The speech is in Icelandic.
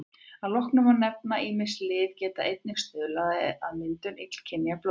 Að lokum má nefna að ýmis lyf geta einnig stuðlað að myndun illkynja blóðleysis.